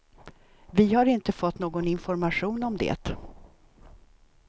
Vi har inte fått någon information om det.